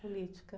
Política.